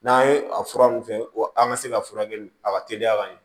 N'an ye a fura ninnu kɛ ko an ka se ka furakɛli a ka teliya ka ɲɛ